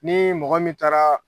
Ni mɔgɔ min taara